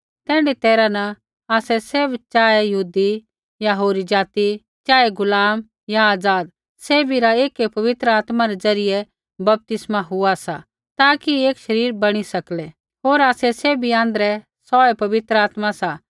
तैण्ढी तैरहा न आसै सैभ चाहे यहूदी या होरी ज़ाति चाहे गुलाम या आज़ाद सैभी रा ऐकै पवित्र आत्मा रै ज़रियै बपतिस्मा हुआ सा ताकि एक शरीर बणी सकै होर आसै सैभी आँध्रै सौऐ पवित्र आत्मा सा